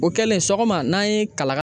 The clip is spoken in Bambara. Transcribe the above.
O kɛlen sɔgɔma n'a ye kalakala